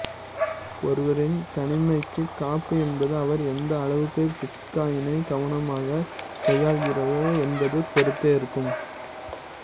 ஒருவரின் தனிமைக்கு காப்பு என்பது அவர் எந்த அளவுக்கு பிட்காயினைக் கவனமாகக் கையாள்கிறார் என்பதைப் பொறுத்தே இருக்கும்